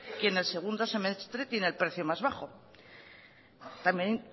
quien en el segundo semestre tiene el precio más bajo también